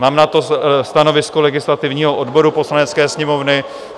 Mám na to stanovisko legislativního odboru Poslanecké sněmovny.